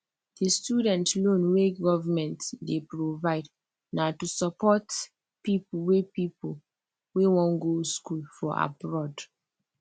the student loan wey government dey provide na to support people wey people wey wan go school for abroad